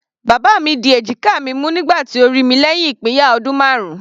Bàbá mi di èjìká mi mú nígbà tí ó rí mi lẹ́hìn ìpínyà ọdún marun.